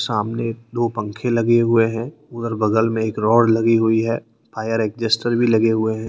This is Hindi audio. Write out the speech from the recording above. सामने दो पंखे लगे हुए हैं और बगल में एक रॉड लगी हुई है फायर एक्जेस्टर भी लगे हुए हैं।